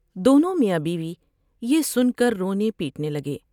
دونوں میاں بیوی یہ سن کر رونے پیٹنے لگے ۔